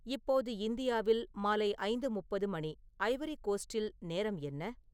இப்போது இந்தியாவில் மாலை ஐந்து முப்பது மணி ஐவரி கோஸ்ட்டில் நேரம் என்ன